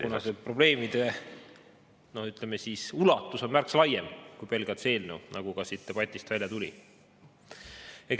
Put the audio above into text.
… kuna see probleemide, ütleme siis, ulatus on märksa laiem kui pelgalt see eelnõu, nagu ka siit debatist välja tuli.